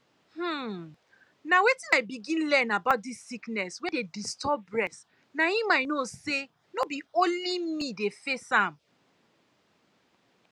hmm na when i begin learn about dis sickness wey dey disturb bress na im i know say no be only me dey face am